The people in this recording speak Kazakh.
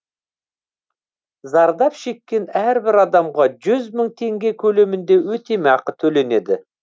зардап шеккен әрбір адамға жүз мың теңге көлемінде өтемақы төленеді